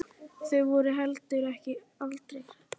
Þau voru heldur aldrei hrædd.